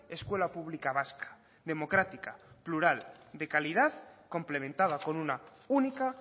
escuela pública vasca democrática plural de calidad complementada con una única